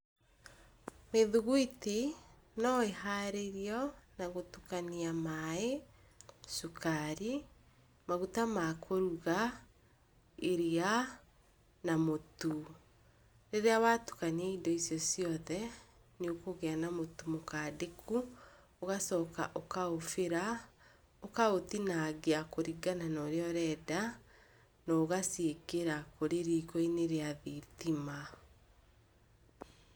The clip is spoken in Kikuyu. Mĩthugwiti no ĩharĩrio na gũtukania maĩ, cukari, maguta makũruga, iria na mũtu. Rĩrĩa watukania indo icio ciothe nĩũkũgĩa na mũtu mũkandĩku, ũgacoka ũgaũcibĩra, ũkaũtinangia kũringana na ũrĩa ũrenda, naũgaciĩkĩra kũrĩ riko-inĩ rĩa thitima.